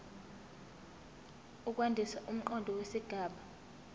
ukwandisa umqondo wesigaba